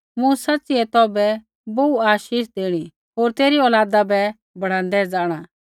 मूँ सच़िऐ तौभै बोहू आशीष देणी होर तेरी औलादा बै बढ़ाँदै जाँणा